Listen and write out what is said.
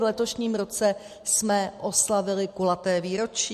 V letošním roce jsme oslavili kulaté výročí.